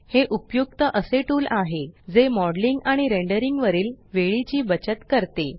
हे उपयुक्त असे टूल आहे जे मॉडेलिंग आणि रेंडरिंग वरील वेळेची बचत करते